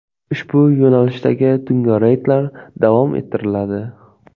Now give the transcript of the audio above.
Ushbu yo‘nalishdagi tungi reydlar davom ettiriladi.